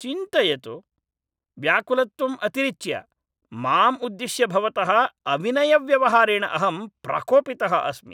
चिन्तयतु, व्याकुलत्वम् अतिरिच्य, माम् उद्दिश्य भवतः अविनयव्यवहारेण अहं प्रकोपितः अस्मि।